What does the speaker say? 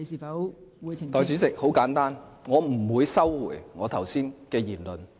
代理主席，我不會收回剛才的言論。